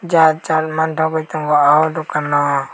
jat jat mantagoi tango o dokan o.